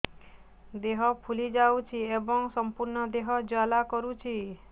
ଦେହ ଫୁଲି ଯାଉଛି ଏବଂ ସମ୍ପୂର୍ଣ୍ଣ ଦେହ ଜ୍ୱାଳା କରୁଛି